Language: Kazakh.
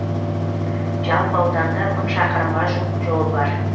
жалпы ауданда мың шақырымға жуық жол бар